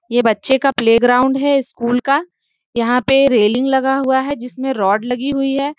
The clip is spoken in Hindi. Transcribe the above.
यह बच्चे का प्लेग्राउंड है स्कूल का। यहा पे रेलिंग लगा हुआ है। जिसमे रोड लगी हुई है।